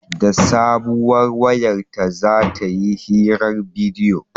Da sabuwar wayar ta za ta yi hirar bidiyo